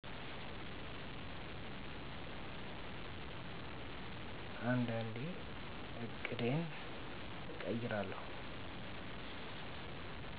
አንዳንዴ ዕቅዴን እቀይራለሁ